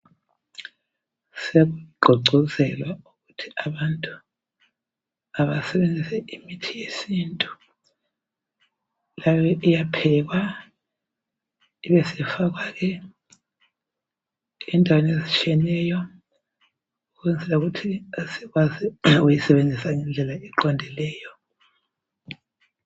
Sekugqogqozelwa ukuba abantu basebenzise imithi yesintu lapho iyaphekwa ibesifakwa endaweni ezitshiyeneyo ukuze ikwanise ukusetshenziswa ngendlela ezitsheyeneyo.